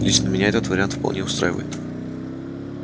лично меня этот вариант вполне устраивает